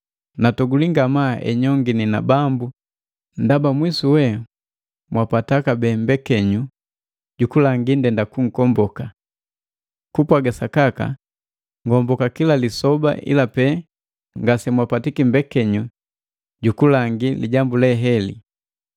Natogulii ngamaa enyongini na Bambu ndaba mwisuwe mwapata kabee mbekenyu jukulangi ndenda kunkomboka. Kupwaga sakaka ngomboka kila lisoba ila pe ngasemwapatiki mbekenyu jukulangii lijambu le heli.